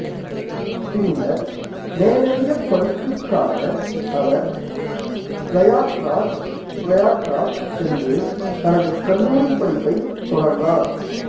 பின்னர் மேலதிக படிப்புக்காக அவர் பிரயாக்ராஜ் பிரயாக்ராஜ் சென்று தனது கல்லூரிப் படிப்பைத் தொடர்ந்தார்